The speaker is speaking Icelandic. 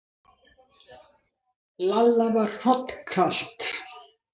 Lalla var hrollkalt.